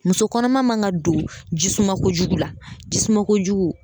Muso kɔnɔma man kan ka don jisuma kojugu la jisuma kojugu.